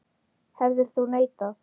Hefðir þú neitað?